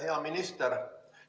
Hea minister!